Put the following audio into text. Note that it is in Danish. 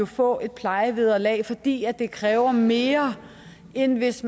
få et plejevederlag fordi det kræver mere end hvis